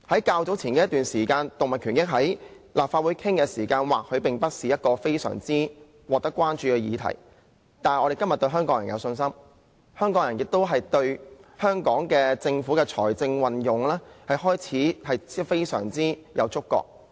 較早前立法會曾討論動物權益，這或許不是非常惹人關注的議題，但我們對香港人有信心，香港人亦開始對政府的財政運用非常有觸覺。